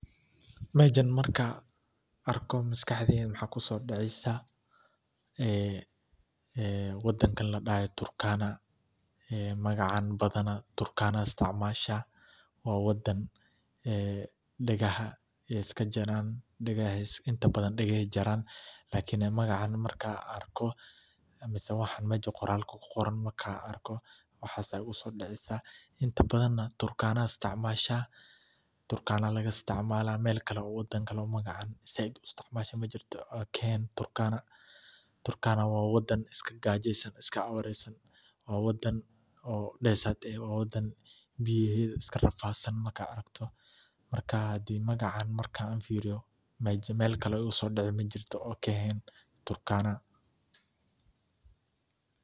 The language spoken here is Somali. Mejan markan arko maskaxdeyda waxa kusodaceysa ee wadankan ladahayo Turkana, magacan badhanah Turkana aa istacmasha waa wadan degaha aay iskajaran, lakini magacan markan arko mise waxa mejan qoralka kuqoran markaa an arko aa sas igusodaceysa intabadhan nah Turkana aya istacmasha, Turkana laga istacmala Mel kale oo wadan kale oo magacan said uu istacmasho majirto oo ka ehen turkana, turkana waa wadan iska gajesan iska awaresan waa wadan oo desert eh waa wadan biyeheda iskarafadsan markad aragto, hadi magacan aan firiyo mejan mel kale oo igusodici majirto oo kaa ehen Turkana.